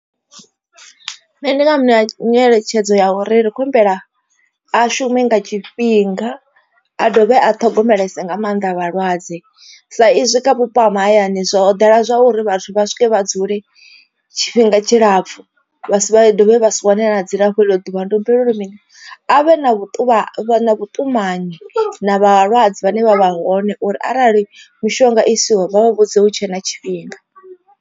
Nṋe ndi nga mu ṋea nyeletshedzo ya uri ri khou humbela a shume nga tshifhinga a dovhe a ṱhogomelese nga maanḓa vhalwadze. Sa izwi kha vhupo ha mahayani zwo ḓala zwauri vhathu vha swike vha dzule tshifhinga tshilapfu vha si vha dovhe vha si wane na dzilafho iḽo ḓuvha. Ndi humbela uri mini avhe na vhuṱumani vhuṱumanyi na vhalwadze vhane vha vha hone uri arali mushonga isiwe vha vha vhudze hu tshe na tshifhinga.